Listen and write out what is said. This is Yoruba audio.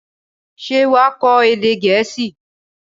Ṣé wà á kọ́ èdè Gẹ̀ẹ́sì?